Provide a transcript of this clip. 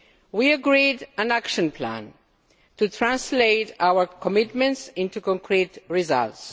We agreed an action plan to translate our commitments into concrete results.